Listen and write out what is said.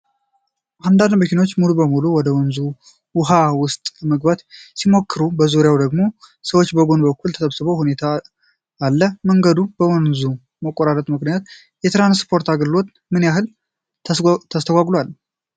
አንዳንድ መኪኖች ሙሉ በሙሉ ወደ ወንዙ ውሃ ውስጥ ለመግባት ሲሞክሩ፣ በዙሪያው ደግሞ ሰዎች በጎን በኩል ተሰብስበው ሁኔታ አለ። መንገዱ በወንዙ መቆራረጡ ምክንያት የትራንስፖርት አገልግሎቱ ምን ያህል ተስተጓጉሏል?አ